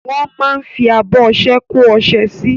Wọ́n máa ń fi abọ́ ọṣẹ kó ọṣẹ sí.